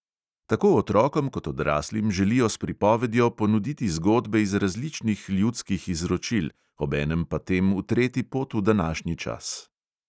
Tako otrokom kot odraslim želijo s pripovedjo ponuditi zgodbe iz različnih ljudskih izročil, obenem pa tem utreti pot v današnji čas.